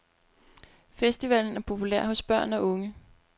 Festivalen er populær hos børn og unge.